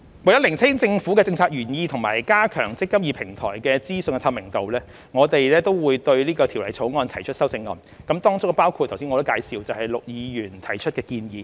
為釐清政策原意及加強"積金易"平台的資訊透明度，政府將對《條例草案》提出修正案，當中包括我剛才介紹陸議員提出的建議。